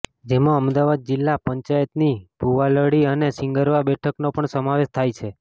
જેમાં અમદાવાદ જિલ્લા પંચાયતની ભૂવાલડી અને સીંગરવા બેઠકનો પણ સમાવેશ થાય છે